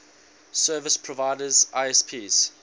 service providers isps